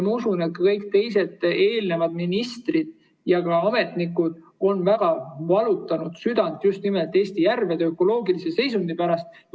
Ma usun, et kõik eelnevad ministrid ja ka ametnikud on väga valutanud südant just nimelt Eesti järvede ökoloogilise seisundi pärast.